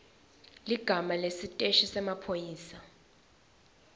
ligama lesiteshi semaphoyisa